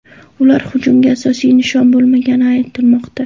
Ular hujumda asosiy nishon bo‘lmagani aytilmoqda.